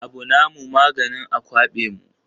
Abu na mu maganin a kwaɓe mu